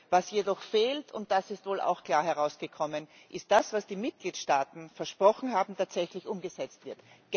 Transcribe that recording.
Was jedoch fehlt und das ist wohl auch klar herausgekommen ist, dass das, was die Mitgliedstaaten versprochen haben, tatsächlich umgesetzt wird.